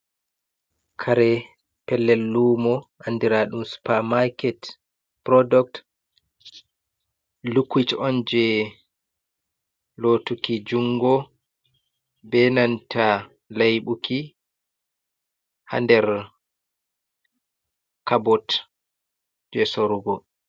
Kare, pellel luumo anndiraaɗum supamaaket purooduk, likwuit on jey lootuki junngo bee nanta leyɓuki haa nder kabot jey sorrugo.